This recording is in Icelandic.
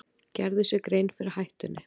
Gerðu sér grein fyrir hættunni